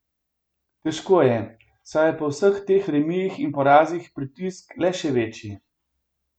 Težko je, saj je po vseh teh remijih in porazih pritisk le še večji.